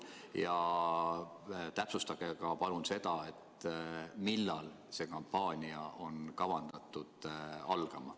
Ja täpsustage palun ka seda, millal see kampaania on kavandatud algama.